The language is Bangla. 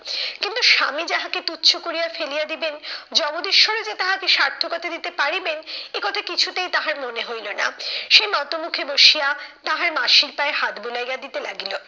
কিন্তু স্বামী যাহাকে তুচ্ছ করিয়া ফেলিয়া দিবেন, জগদীশ্বও যে তাহাকে সার্থকতা দিতে পারিবেন এ কথা কিছুতেই তাহার মনে হইলো না। সে নত মুখে বসিয়া তাহার মাসির পায়ে হাত বুলাইয়া দিতে লাগিল।